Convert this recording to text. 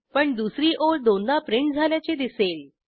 पण दुसरी ओळ दोनदा प्रिंट झाल्याचे दिसेल